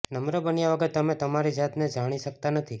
નમ્ર બન્યા વગર તમે તમારી જાતને જાણી શકતા નથી